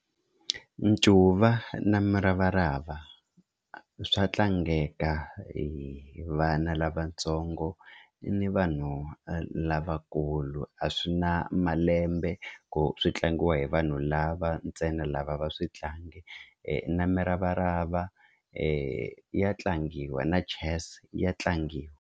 Ncuva na muravarava swa tlangeka hi vana lavatsongo ni vanhu lavakulu a swi na malembe ku tlangiwa hi vanhu lava ntsena lava a va swi tlangi na muravarava ya tlangiwa na chess ya tlangiwa.